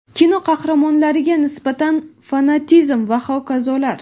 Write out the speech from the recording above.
kino qahramonlariga nisbatan fanatizm va hokazolar.